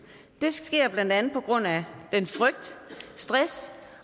det sker blandt andet på grund af den frygt stress